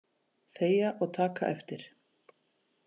Þegja og taka eftir!